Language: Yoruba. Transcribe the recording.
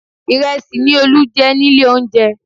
Ìrẹsì ni Olú jẹ nílé oúnjẹ